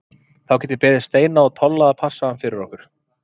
Þá get ég beðið Steina og Tolla að passa hann fyrir okkur.